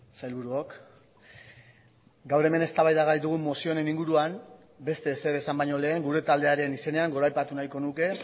sailburuok gaur hemen eztabaida gai dugun mozio honen inguruan beste ezer esan baino lehen gure taldearen izenean goraipatu nahiko nuke